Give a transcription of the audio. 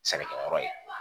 Sɛnɛkɛyɔrɔ ye